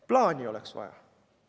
Plaani oleks vaja!